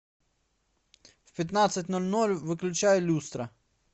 в пятнадцать ноль ноль выключай люстра